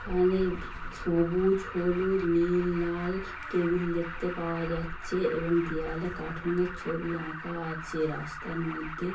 এখানে সবুজ হলুদ নীল লাল টেবিল দেখতে পাওয়া যাচ্ছে এবং দেয়ালে কার্টুন -এর ছবি আঁকা আছে রাস্তার মধ্যে।